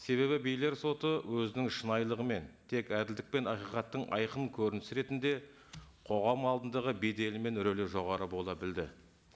себебі билер соты өзінің шынайлығымен тек әділдік пен ақиқаттың айқын көрінісі ретінде қоғам алдындағы беделі мен рөлі жоғары бола білді